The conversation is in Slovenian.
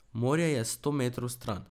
Morje je sto metrov stran!